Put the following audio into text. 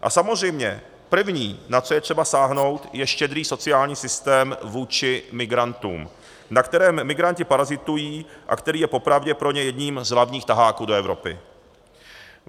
A samozřejmě první, na co je třeba sáhnout, je štědrý sociální systém vůči migrantům, na kterém migranti parazitují a který je popravdě pro ně jedním z hlavních taháků do Evropy.